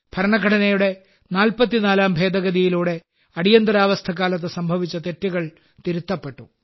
ഭരണഘടനയുടെ 44ാം ഭേദഗതിയിലൂടെ അടിയന്തരാവസ്ഥക്കാലത്ത് സംഭവിച്ച തെറ്റുകൾ തിരുത്തപ്പെട്ടു